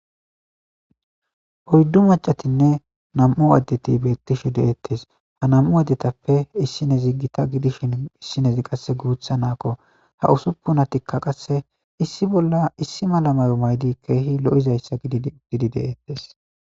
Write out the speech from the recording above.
Oyddu macatinne nam'u addeti beettishe deettes ha nam'u addetappe issinezi gita gidishin issinezi qasse guutha naakko ha usuppunatikka qasse issi bolla issi malamayo maydi keehi lo'izayssa dgidi de'ettes